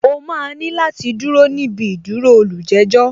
O máa ní láti dúró níbi ìdúró olùjẹ́jọ̀